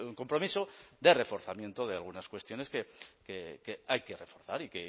compromiso de reforzamiento de algunas cuestiones que hay que reforzar y